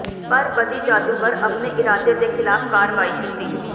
ਪਰ ਬਦੀ ਜਾਦੂਗਰ ਆਪਣੇ ਇਰਾਦੇ ਦੇ ਖਿਲਾਫ ਕਾਰਵਾਈ ਕੀਤੀ